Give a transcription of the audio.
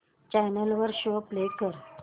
channel वर show play कर